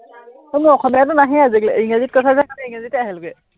বোলো অসমীয়াতো নাহেই আজিকালি, ইংৰাজীত কৈছ যে সেই কাৰনে ইংৰাজীতে আহে লোকে।